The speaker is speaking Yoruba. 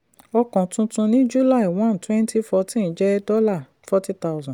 ọkọ̀ tuntun ni july 1 twenty fourteen jẹ dollar forty thousand